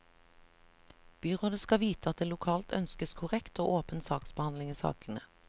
Byrådet skal vite at det lokalt ønskes korrekt og åpen saksbehandling i sakene.